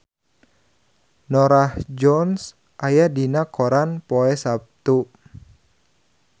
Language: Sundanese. Norah Jones aya dina koran poe Saptu